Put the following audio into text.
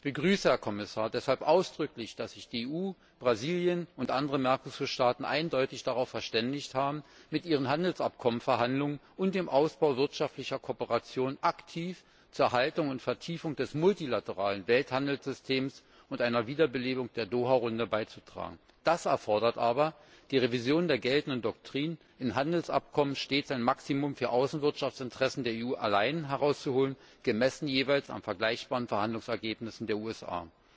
Ich begrüße, Herr Kommissar, deshalb ausdrücklich, dass sich die EU, Brasilien und andere Mercosur Staaten eindeutig darauf verständigt haben, mit ihren Handelsabkommen Verhandlungen und dem Ausbau wirtschaftlicher Kooperation aktiv zur Erhaltung und Vertiefung des multilateralen Welthandelssystems und einer Wiederbelebung der Doha Runde beizutragen. Das erfordert aber die Revision der geltenden Doktrin, in Handelsabkommen stets ein Maximum für Außenwirtschaftsinteressen der EU allein herauszuholen, gemessen jeweils an vergleichbaren Verhandlungsergebnissen der USA.